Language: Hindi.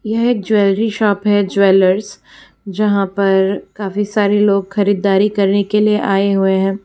यह एक ज्वेलरी शॉप है ज्वेलर्स जहां पर काफी सारे लोग खरीदारी करने के लिए आए हुए हैं।